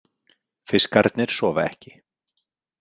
Fiskarnir sofa ekki.